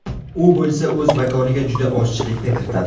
U bo‘lsa o‘z makoniga juda ozchilikni kiritadi.